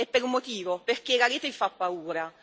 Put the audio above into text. E per un motivo perché la rete vi fa paura.